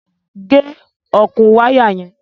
Gẹ̀ ọkùn wàya yẹn!